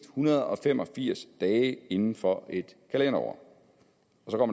hundrede og fem og firs dage inden for et kalenderår